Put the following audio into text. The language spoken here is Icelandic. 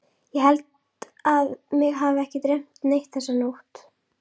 Ég held að mig hafi ekki dreymt neitt þessa nótt.